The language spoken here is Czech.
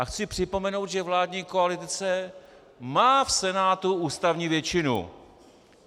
A chci připomenout, že vládní koalice má v Senátu ústavní většinu.